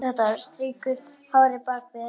Strýkur hárinu bak við eyrað.